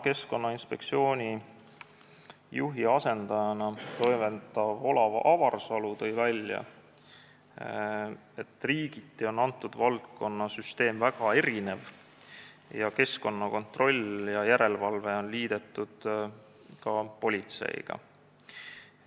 Keskkonnainspektsiooni juhi asendajana toimetav Olav Avarsalu tõi välja, et riigiti on selle valdkonna süsteem väga erinev, kontrolli ja järelevalvet on liidetud ka politsei tööga.